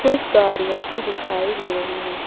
कुछ गाड़ियां भी दिखाई दे रही है।